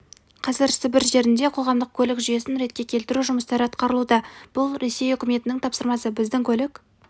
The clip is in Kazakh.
қазір сібір жерінде қоғамдық көлік жүйесін ретке келтіру жұмыстары атқарылуда бұл ресей үкіметінің тапсырмасы біздің көлік